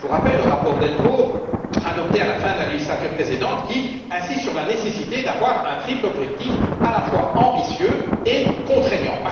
Je vous rappelle le rapport Delvaux, adopté à la fin de la législature précédente, qui insiste sur la nécessité d'avoir un triple objectif, à la fois ambitieux et contraignant.